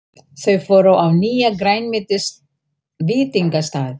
Þau fóru á nýjan grænmetisveitingastað.